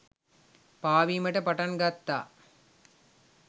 පාවීමට පටන් ගත්තා.